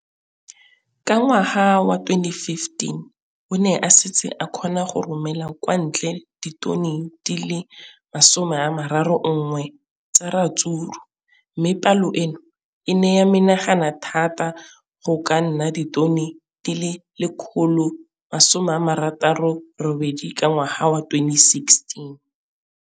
Ka ngwaga wa 2015, o ne a setse a kgona go romela kwa ntle ditone di le 31 tsa ratsuru mme palo eno e ne ya menagana thata go ka nna ditone di le 168 ka ngwaga wa 2016.